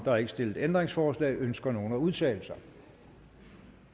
er ikke stillet ændringsforslag ønsker nogen at udtale sig